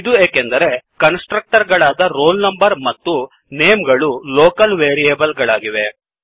ಇದು ಏಕೆಂದರೆ constructor ಗಳಾದ roll number ಮತ್ತು ನೇಮ್ ಗಳು ಲೊಕಲ್ ವೇರಿಯೇಬಲ್ ಗಳಾಗಿವೆ